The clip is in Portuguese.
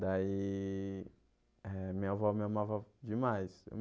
Daí eh minha avó me amava demais.